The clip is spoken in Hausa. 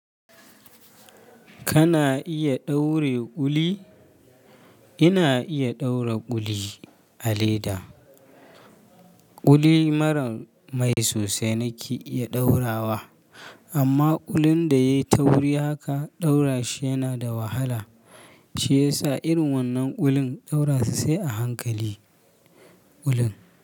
Kana iya ɗaure kuli? Ina iya ɗaura kuli a leda. Kuli maran mai sosai nake iya ɗaurawa amma kulin da yai ta wuri haka ɗaura shi yana da wahala. Shi yasa irin wannan kulin ɗaura shi sai a hankali. Kulin.